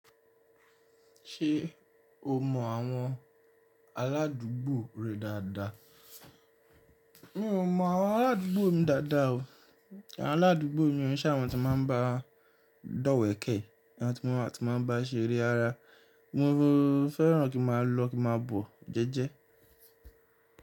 Ṣé o mọ àwọn ará adùúgbò rẹ dáadáa? Mi ò mọ àwọn ará adùúgbò mi dáadáa o. Àwọn aládùúgbò mi ò ǹṣẹ̀ àwọn tí máa ń bá dọ̀wẹ̀ kẹ̀, àwọn tí wọ́n á ti máa ń bá ṣeré rara. Mo fẹ́ràn kí n máa lọ kí n máa bọ̀ jẹ́jẹ́